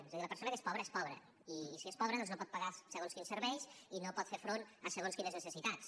és a dir la persona que és pobra és pobra i si és pobra no pot pagar segons quins serveis i no pot fer front a segons quines necessitats